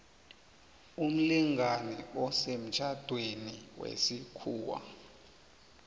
umlingani osemtjhadweni wesikhuwa